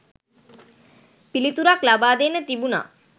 පිලිතුරක් ලබා දෙන්න තිබුනා.